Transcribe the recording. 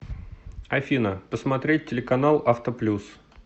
афина посмотреть телеканал авто плюс